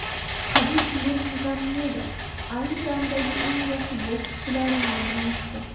Habib Nurmagomedov ayni damdagi eng yaxshi bokschilar nomini aytdi.